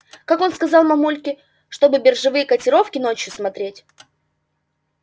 как он сказал мамульке чтобы биржевые котировки ночью смотреть